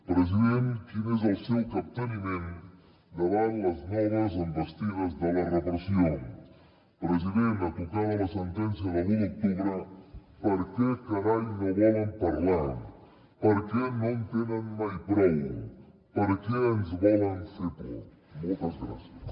president quin és el seu capteniment davant les noves envestides de la repressió president a tocar de la sentència de l’u d’octubre per què carai no volen parlar per què no en tenen mai prou per què ens volen fer por moltes gràcies